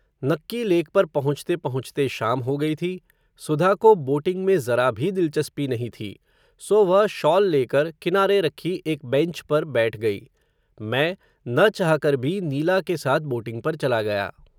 नक्की लेक पर पहुँचते पहुँचते शाम हो गई थी, सुधा को, बोटिंग में ज़रा भी दिलचस्पी नहीं थी, सो वह, शॉल लेकर, किनारे रखी एक बैन्च पर बैठ गई, मैं, न चाह कर भी, नीला के साथ, बोटिंग पर चला गया